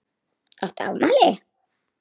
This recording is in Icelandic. Áttu afmæli?